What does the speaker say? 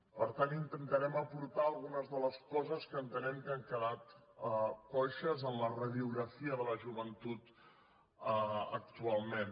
per tant intentarem aportar algunes de les coses que entenem que han quedat coixes en la radiografia de la joventut actualment